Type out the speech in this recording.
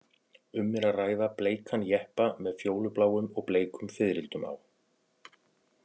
Um er að ræða bleikan jeppa með fjólubláum og bleikum fiðrildum á.